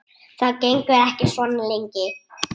Það gengur ekki svona lengi.